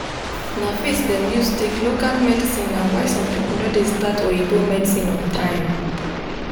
na faith them use take local medicine na why some people no dey start oyibo medicine on time.